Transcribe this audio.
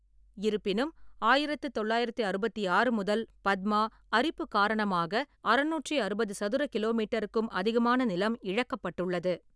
இருப்பினும், ஆயிரத்து தொள்ளாயிரத்து அறுபத்தி ஆறு முதல் பத்மா அரிப்பு காரணமாக அறுநூற்றி அறுபது சதுர கிலோமீட்டருக்கும் அதிகமான நிலம் இழக்கப்பட்டுள்ளது.